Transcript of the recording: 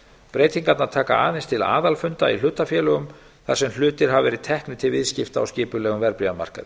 breytingarnar taka aðeins til aðalfunda í hlutafélögum þar sem hlutir hafa verið teknir til viðskipta á skipulegum verðbréfamarkaði